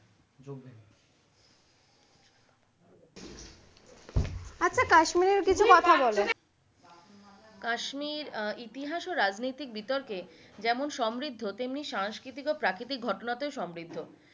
আচ্ছা কাশ্মীরের কিছু কথা বলো কাশ্মীর ইতিহাস ও রাজনৈতিক বিতর্কে যেমন সমৃদ্ধ তেমনি সাংস্কৃতিক ও প্রাকৃতিক ঘটনাতেও সমৃদ্ধ,